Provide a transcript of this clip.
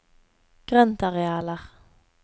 grøntarealer